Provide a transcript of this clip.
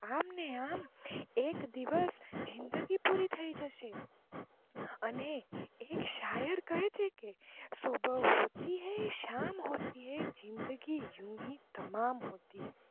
આમ ને આમ એક દિવસ જિંદગી પૂરી થઇ જશે અને એક શાયર કહે છે કે સુબહ હોતી હે શામ હોતી હે જિંદગી યુંહી તમામ હોતી હે